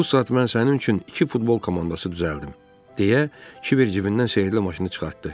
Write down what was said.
Bu saat mən sənin üçün iki futbol komandası düzəldim deyə Kiber cibindən sehrli maşını çıxartdı.